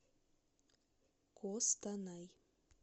костанай